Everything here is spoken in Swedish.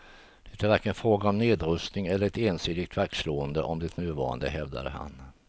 Det är varken fråga om nedrustning eller ett ensidigt vaktslående om det nuvarande, hävdade han.